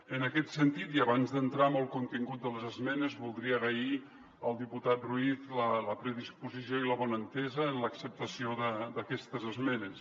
en aquest sentit i abans d’entrar en el contingut de les esmenes voldria agrair al diputat ruiz la predisposició i la bona entesa en l’acceptació d’aquestes esmenes